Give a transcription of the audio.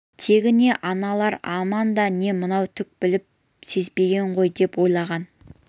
тегі не аналар аман да не мынау түк біліп сезбеген ғой деп ойлаған